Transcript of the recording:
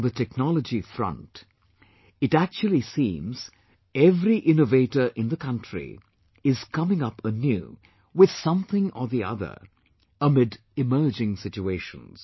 On the technology front, it actually seems every innovator in the country is coming up anew with something or the other amid emerging situations